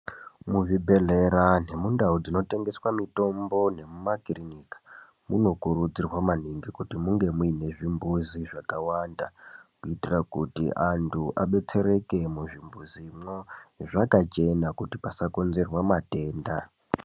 Muzvibhedhlera nemundau dzinotengeswa mitombo nemumakirinika munokurudzirwa maningi kuti munge muine zvimbuzi zvakawanda kuitira kuti antu adetsereke muzvimbuzimwo zvakachena kuti pasakonzerwa matenda.